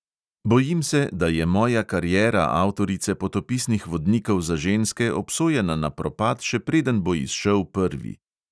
"Bojim se, da je moja kariera avtorice potopisnih vodnikov za ženske obsojena na propad, še preden bo izšel prvi."